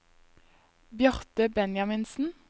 Bjarte Benjaminsen